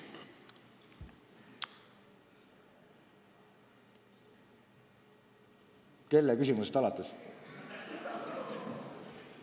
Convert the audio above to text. Kelle küsimusest alates?